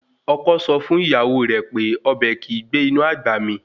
Ọkọ sọ fún ìyàwó rẹ̀ pé Ọbẹ́ kìí gbé inú àgbà mí